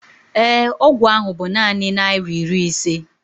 ee, ọgwụ ahụ bu naanị naira iri ise